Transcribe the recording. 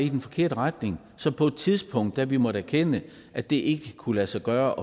i den forkerte retning så på et tidspunkt da vi måtte erkende at det ikke kunne lade sig gøre